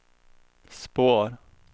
spår